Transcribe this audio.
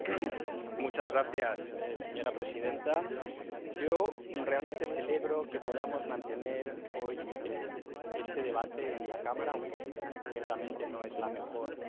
Señora presidenta, yo realmente celebro que podamos mantener hoy este debate en la Cámara, aunque ciertamente no es la mejor hora ni el mejor día